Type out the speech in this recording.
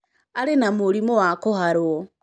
Arĩ na mũrimũ wa kũharwo.